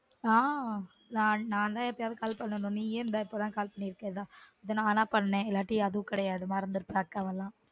ஆஹ் நான் தான் எப்பயாவது call நீயா எந்த இப்ப தான் call பண்ணிருக்க இது நானா பண்ணன் இல்லாட்டி அதுவும் கிடயாதுமறந்துருப்ப அக்காவ எல்லான்